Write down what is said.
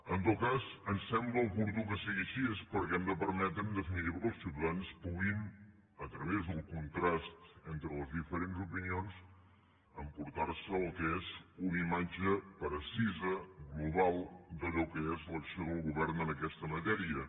en tot cas ens sembla oportú que sigui així perquè hem de permetre en definitiva que els ciutadans puguin a través del contrast entre les diferents opinions emportarse el que és una imatge precisa global d’allò que és l’acció del govern en aquesta matèria